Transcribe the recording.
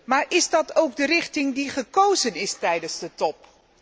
Maar is dat ook de richting die gekozen is tijdens de top?